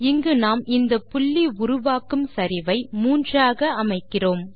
இங்கு நாம் இந்த புள்ளி உருவாக்கும் சரிவை 3 ஆக அமைக்கிறோம்